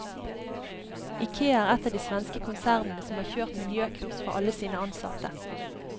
Ikea er ett av de svenske konsernene som har kjørt miljøkurs for alle sine ansatte.